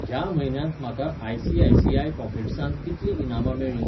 ह्या म्हयन्यांत म्हाका आय.सी.आय.सी.आय पॉकेट्सांत कितलीं इनामां मेळ्ळीं?